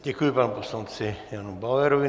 Děkuji panu poslanci Janu Bauerovi.